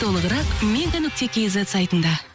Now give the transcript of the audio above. толығырақ мега нүкте кейзет сайтында